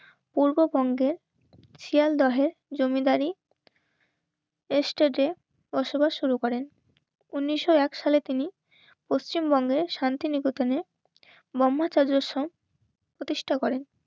পূর্ববঙ্গের শিয়ালদহের জমিদারি এ স্টেজে বসবাস শুরু করেন. উনিশশো এক সালে তিনি পশ্চিমবঙ্গের শান্তিনিকেতনে মোহাম্মদ আজির সাহেব প্রতিষ্ঠা করেন.